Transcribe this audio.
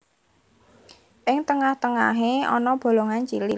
Ing tengah tengahé ana bolongan cilik